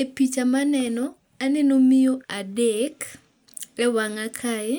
E picha maneno aneno miyo adek e wang'e kae,